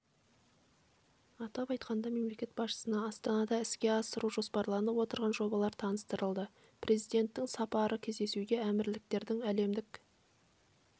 атап айтқанда мемлекет басшысына астанада іске асыру жоспарланып отырған жобалар таныстырылды президентінің сапары кездесуге әмірліктердің әлемдік